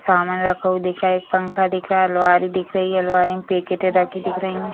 सामान रखा हुआ दिख रहा है पंखा दिख रहा है अलमारी दिख रही है अलमारी में पैकेट रखी दिख रही है।